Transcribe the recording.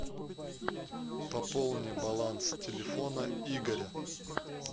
пополни баланс телефона игоря